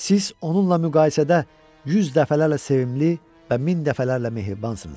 Siz onunla müqayisədə yüz dəfələrlə sevimli və min dəfələrlə mehribansınız.